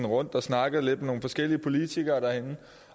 rundt og snakkede lidt med nogle forskellige politikere herinde